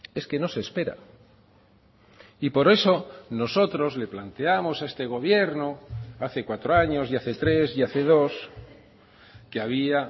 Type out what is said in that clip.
es que no se espera y por eso nosotros le planteábamos a este gobierno hace cuatro años y hace tres y hace dos que había